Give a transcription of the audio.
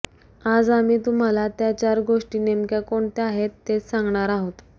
आज आम्ही तुम्हाला त्या चार गोष्टी नेमक्या कोणत्या आहेत तेच सांगणार आहोत